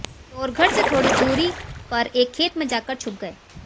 चोर घर से थोड़ी दूरी पर एक खेत में जाकर छुप गए